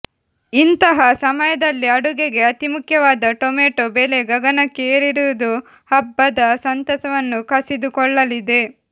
ಇಂತಹಾ ಸಮಯದಲ್ಲೇ ಅಡುಗೆಗೆ ಅತಿಮುಖ್ಯವಾದ ಟಮೆಟೊ ಬೆಲೆ ಗಗನಕ್ಕೆ ಏರಿರುವುದು ಹಬ್ಬದ ಸಂತಸವನ್ನು ಕಸಿದುಕೊಳ್ಳಲಿದೆ